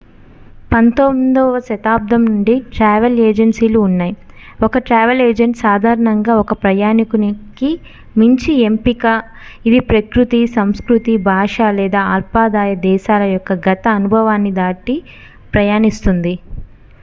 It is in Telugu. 19వ శతాబ్దం నుండి ట్రావెల్ ఏజెన్సీలు ఉన్నాయి ఒక ట్రావెల్ ఏజెంట్ సాధారణంగా ఒక ప్రయాణికుని కి మంచి ఎంపిక ఇది ప్రకృతి సంస్కృతి భాష లేదా అల్పాదాయ దేశాల యొక్క గత అనుభవాన్ని దాటి ప్రయాణిస్తుంది